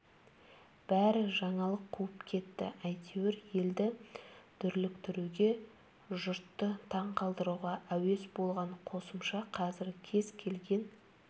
бәрі жаңалық қуып кетті әйтеуір елді дүрліктіруге жұртты таңқалдыруға әуес бұған қосымша қазір кез келген